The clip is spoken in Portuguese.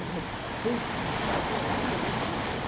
Um respeito que eu ficava até... Eu não mereço isso, pô.